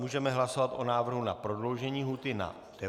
Můžeme hlasovat o návrhu na prodloužení lhůty na 90 dnů.